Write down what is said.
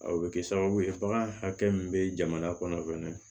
A bɛ kɛ sababu ye bagan hakɛ min bɛ jamana kɔnɔ fɛnɛ